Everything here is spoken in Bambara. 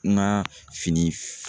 Ma fini f